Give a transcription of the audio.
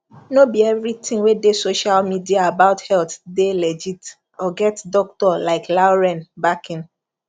no be everything wey dey social media about health dey legit or get doctor like lauren backing